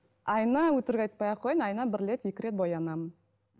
айына өтірік айтпай ақ қояйын айына бір рет екі рет боянамын